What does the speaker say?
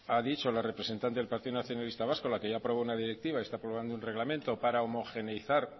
ha dicho la representante del partido nacionalista vasco la que ya aprobó una directiva y está aprobando un reglamento para homogeneizar